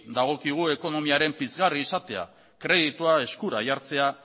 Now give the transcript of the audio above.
dagokigu ekonomiaren pizgarri izatea kreditua eskura jartzea